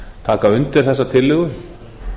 taka undir þessa tillögu